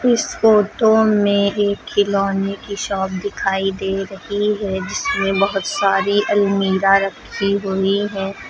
इस फोटो में एक खिलौने की शॉप दिखाई दे रही है जिसमें बहुत सारी अलमीरा रखीं हुई है।